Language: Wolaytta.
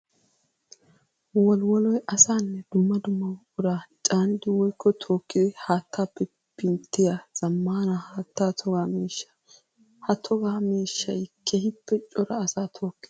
Wolliwoloy asaane dumma dumma buqura caaniddi woykko tookkiddi haattappe pinttiya zamaana haatta toga miishsha. Ha toga miishshay keehippe cora asaa tokkees.